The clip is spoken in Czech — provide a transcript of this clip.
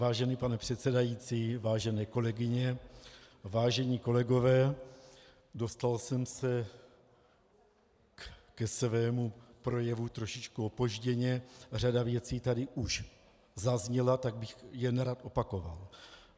Vážený pane předsedající, vážené kolegyně, vážení kolegové, dostal jsem se ke svému projevu trošičku opožděně, řada věcí tady už zazněla, tak bych je nerad opakoval.